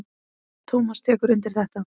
Tómas tekur undir þetta.